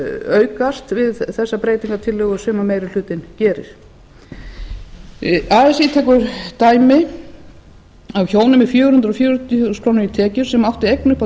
aukast við þessa breytingartillögu sem meiri hlutinn gerir así tekur dæmi af hjónum með fjögur hundruð fjörutíu þúsund krónur í tekjur sem áttu eign upp á